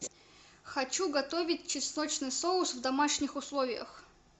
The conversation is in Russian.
хочу готовить чесночный соус в домашних условиях